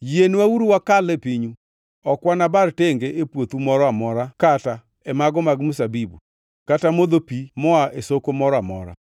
“Yienwauru wakal e pinyu. Ok wanabar tenge e puothu moro amora kata e mago mag mzabibu, kata modho pi moa e soko moro amora.